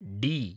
D